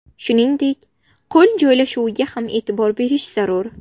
Shuningdek, qo‘l joylashuviga ham e’tibor berish zarur.